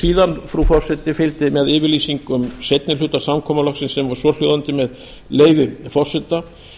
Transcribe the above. síðan frú forseti fylgdi með yfirlýsing um seinni hluta samkomulagsins sem var svohljóðandi með leyfi forseta